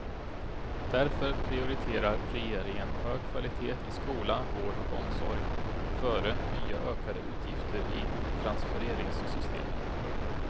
Därför prioriterar regeringen hög kvalitet i skola, vård och omsorg före nya ökade utgifter i transfereringssystemen.